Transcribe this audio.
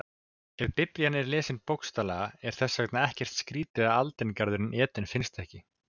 Ef Biblían er lesin bókstaflega er þess vegna ekkert skrýtið að aldingarðurinn Eden finnist ekki.